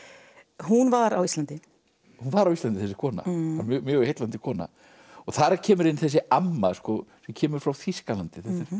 hún var á Íslandi hún var á Íslandi þessi kona mjög heillandi kona þar kemur inn þessi amma sem kemur frá Þýskalandi